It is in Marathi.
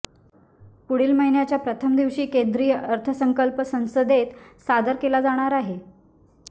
पुढील महिन्याच्या प्रथम दिवशी केंद्रीय अर्थसंकल्प संसदेत सादर केला जाणार आहे